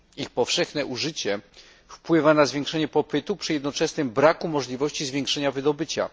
Ich powszechne użycie wpływa na zwiększenie popytu, przy jednoczesnym braku możliwości zwiększenia wydobycia.